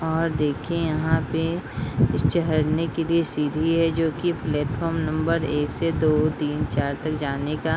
और देखिए यहाँ पे इस चहड़ने के लिए सीढ़ी है जो की प्लेटफॉर्म नंबर एक से दो तीन चार तक जाने का।